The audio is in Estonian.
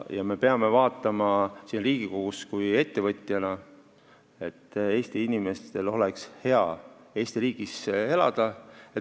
Me peame siin Riigikogus vaatama, et Eesti inimestel oleks hea Eesti riigis elada.